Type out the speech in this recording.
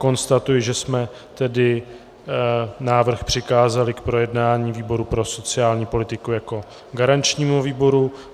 Konstatuji, že jsme tedy návrh přikázali k projednání výboru pro sociální politiku jako garančnímu výboru.